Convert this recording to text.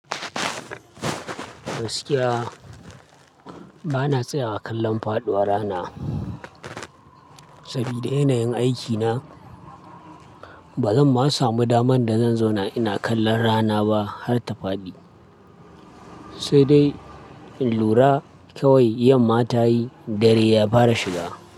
Gaskiya ba na tsaya a kallon faɗuwar rana. Saboda inayin aikina ba zan ma samu daman da zan zauna ina kallon rana ba har ta faɗi. Sai dai in lura kawai yamma ta yi dare ya fara shiga.